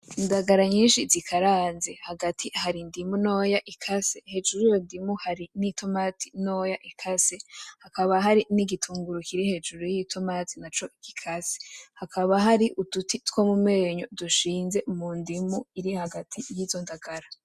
Indagala nyinshi zikaranze hagati hari indimu ntoya ikase, hejuru y'urudimu hari n'i "tomate" ntoya ikase hakaba hari n'igitunguru kiri hejuru y'i "tomate" naco gikase, hakaba hari uduti two mumenyo dushinze mu ndimu iri hagati yizo ndagala.